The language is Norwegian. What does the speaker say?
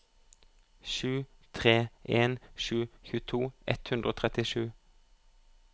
sju tre en sju tjueto ett hundre og trettisju